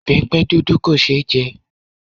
Ìbẹpẹ dúdú kò ṣe é jẹ